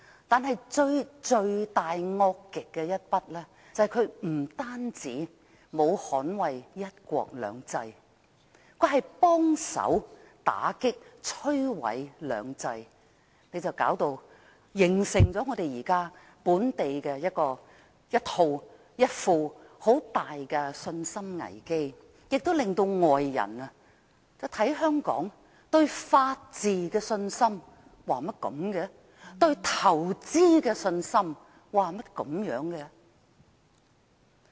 但最罪大惡極的一宗，就是他不單沒有捍衞"一國兩制"，更協助打擊和摧毀"兩制"，形成本地一個很大的信心危機，亦令外人對香港法治和在港投資的信心產生疑問。